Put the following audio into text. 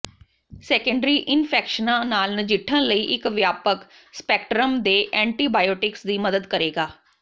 secondary ਇਨਫੈਕਸ਼ਨਾਂ ਨਾਲ ਨਜਿੱਠਣ ਲਈ ਇਕ ਵਿਆਪਕ ਸਪੈਕਟ੍ਰਮ ਦੇ ਐਂਟੀਬਾਇਓਟਿਕਸ ਦੀ ਮਦਦ ਕਰੇਗਾ